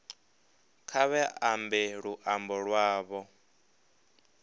kha vha ambe luambo lwavho